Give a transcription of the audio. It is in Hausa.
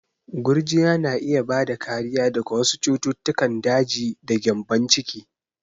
Gurjiya na iya bada kariya daga wasu cututtukan daji da gyambon ciki.